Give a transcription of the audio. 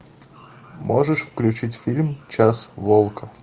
можешь включить фильм час волка